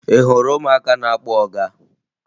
Ị hụrụ ụmụaka na-akpọ ọga?